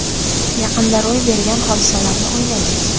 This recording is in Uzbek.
Yaqinda ro‘y bergan hodisalarni olaylik.